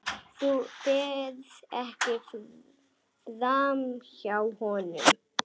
Þú ferð ekki framhjá honum.